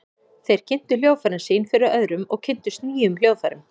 Þeir kynntu hljóðfærin sín fyrir öðrum og kynntust nýjum hljóðfærum.